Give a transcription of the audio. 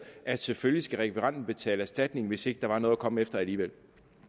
at selvfølgelig skal rekvirenten betale erstatning hvis ikke der var noget at komme efter alligevel